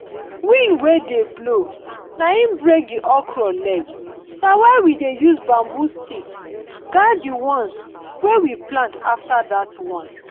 wind wey dey blow naim break the okra leg na why we dey use bamboo stick guide the ones wey we plant after that one.